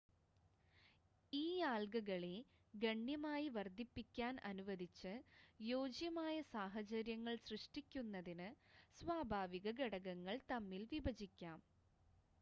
ഈ ആൽഗകളെ ഗണ്യമായി വർദ്ധിപ്പിക്കാൻ അനുവദിച്ച് യോജ്യമായ സാഹചര്യങ്ങൾ സൃഷ്ടിക്കുന്നതിന് സ്വാഭാവിക ഘടകങ്ങൾ തമ്മിൽ വിഭജിക്കാം